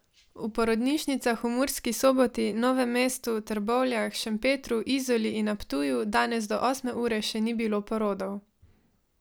V porodnišnicah v Murski Soboti, Novem mestu, Trbovljah, Šempetru, Izoli in na Ptuju danes do osme ure še ni bilo porodov.